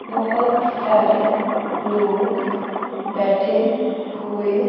बहुत सारे लोग बैठे हुए--